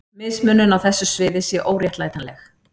Mismunun á þessu sviði sé óréttlætanleg.